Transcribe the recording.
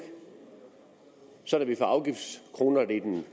sådan at vi får afgiftskronerne i den